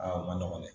Aa o man nɔgɔn dɛ